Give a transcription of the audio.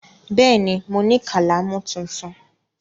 Bẹ́ẹ̀ ni, mo ní kálámù tuntun.